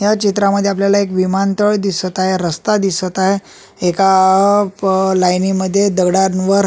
या चित्रामध्ये आपल्याला विमानतळ दिसत आहे रस्ता दिसत आहे एका लाईनिमध्ये दगडावर--